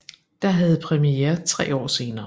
Der havde premiere tre år senere